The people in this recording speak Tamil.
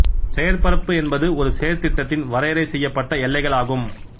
செயற்பரப்பு என்பது ஒரு செயற்திட்டத்தின் வரையறை செய்யப்பட்ட எல்லைகள் ஆகும்